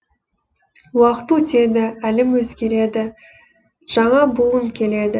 уақыт өтеді әлем өзгереді жаңа буын келеді